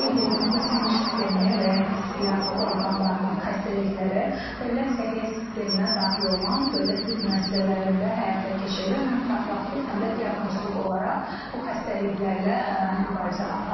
Qeyd edim ki, sinir sistemi və hissiyyat orqanlarının xəstəlikləri dövlət səhiyyə sisteminə daxil olan dövlət tibb müəssisələrində həyata keçirilir, həm profilaktik, həm də diaqnostik olaraq bu xəstəliklərlə mübarizə aparılır.